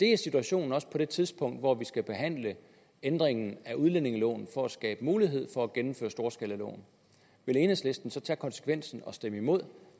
er situationen på det tidspunkt hvor vi skal behandle ændringen af udlændingeloven for at skabe mulighed for at gennemføre storskalaloven vil enhedslisten så tage konsekvensen og stemme imod